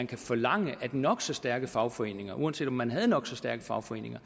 kan forlange at nok så stærke fagforeninger uanset om man havde nok så stærke fagforeninger